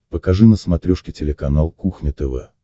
покажи на смотрешке телеканал кухня тв